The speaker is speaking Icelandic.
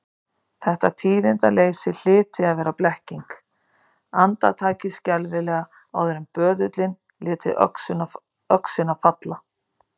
Þetta tíðindaleysi hlyti að vera blekking, andartakið skelfilega áður en böðullinn léti öxina falla.